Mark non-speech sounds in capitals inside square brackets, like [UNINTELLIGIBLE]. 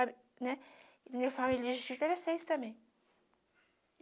a né. Minha família [UNINTELLIGIBLE] era seis também.